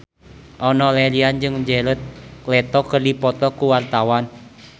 Enno Lerian jeung Jared Leto keur dipoto ku wartawan